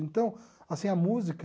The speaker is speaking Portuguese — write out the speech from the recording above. Então, assim, a música...